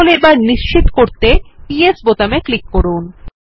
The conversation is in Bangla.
তাহলে এখন নিশ্চিত করতে য়েস বোতামে ক্লিক করুন